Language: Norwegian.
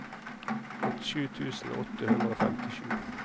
åttisju tusen åtte hundre og femtisju